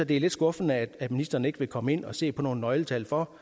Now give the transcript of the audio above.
det er lidt skuffende at ministeren ikke vil komme ind og se på nogle nøgletal for